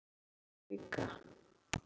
Og amma líka.